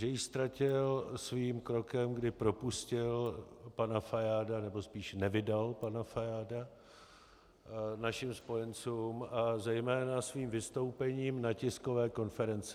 Že ji ztratil svým krokem, kdy propustil pana Fajáda, nebo spíš nevydal pana Fajáda našim spojencům, a zejména svým vystoupením na tiskové konferenci.